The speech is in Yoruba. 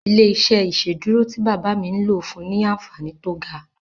Ilé-iṣẹ́ ìsedúró tí bàbá mi n lò fúnni ní anfààní tó ga